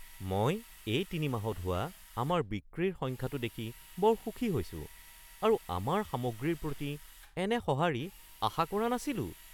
মই এই তিনিমাহত হোৱা আমাৰ বিক্ৰীৰ সংখ্যাটো দেখি বৰ সুখী হৈছো আৰু আমাৰ সামগ্ৰীৰ প্ৰতি এনে সঁহাৰি আশা কৰা নাছিলোঁ।